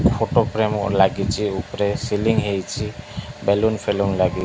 Photo frame ଲାଗିଚି ଉପରେ ceiling ହେଇଚି ବେଲୁନ ଫେଲୁନ ଲାଗି।